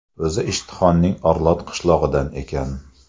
O‘zi Ishtixonning Orlot qishlog‘idan ekan.